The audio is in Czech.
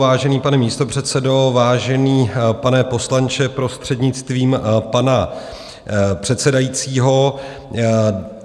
Vážený pane místopředsedo, vážený pane poslanče, prostřednictvím pana předsedajícího.